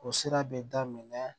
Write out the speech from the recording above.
O sira bɛ daminɛ